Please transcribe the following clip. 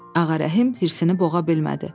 Ağarəhim hirsini boğa bilmədi.